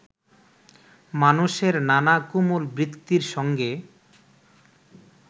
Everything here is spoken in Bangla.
মানুষের নানা কোমল বৃত্তির সঙ্গে